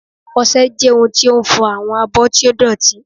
Ọṣẹ jẹ ohun ti o n fọ awọn abo ti o dotí